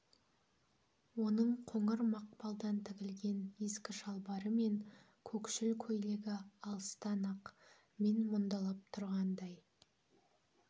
оның қоңыр мақпалдан тігілген ескі шалбары мен көкшіл көйлегі алыстан-ақ мен мұндалап тұрғандай